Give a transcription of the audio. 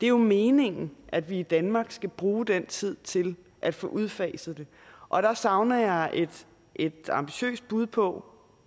er meningen at vi i danmark skal bruge den tid til at få udfaset det og der savner jeg et ambitiøst bud på